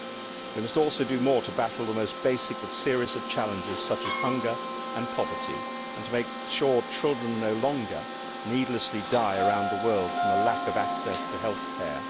We must also do more to battle the most basic but serious of challenges such as hunger and poverty, and to make sure children no longer needlessly die around the world from a lack of access to health care.